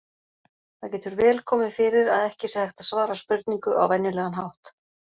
Það getur vel komið fyrir að ekki sé hægt að svara spurningu á venjulegan hátt.